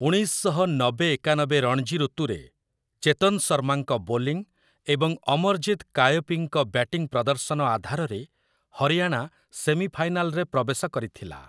ଉଣେଇଶ ଶହ ନବେ-ଏକାନବେ ରଣଜୀ ଋତୁରେ, ଚେତନ୍ ଶର୍ମାଙ୍କ ବୋଲିଂ ଏବଂ ଅମରଜିତ୍ କାୟପୀଙ୍କ ବ୍ୟାଟିଂ ପ୍ରଦର୍ଶନ ଆଧାରରେ ହରିୟାଣା ସେମିଫାଇନାଲରେ ପ୍ରବେଶ କରିଥିଲା ।